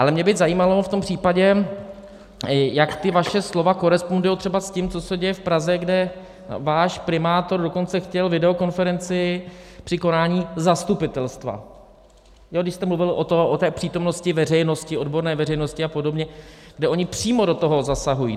Ale mě by zajímalo v tom případě, jak ta vaše slova korespondují třeba s tím, co se děje v Praze, kde váš primátor dokonce chtěl videokonferenci při konání zastupitelstva, když jste mluvil o té přítomnosti veřejnosti, odborné veřejnosti a podobně, kde oni přímo do toho zasahují.